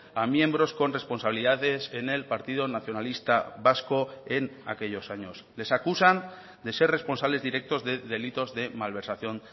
a miembros con responsabilidades en el partido nacionalista vasco en aquellos años les acusan de ser responsables directos de delitos de malversación